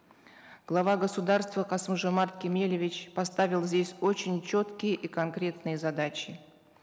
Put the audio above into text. глава государства касым жомарт кемелевич поставил здесь очень четкие и конкретные задачи